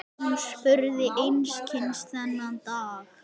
Hún spurði einskis þennan daginn.